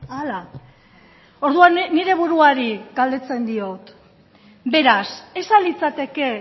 hala orduan nire buruari galdetzen diot beraz ez al litzateke